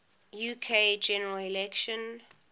uk general election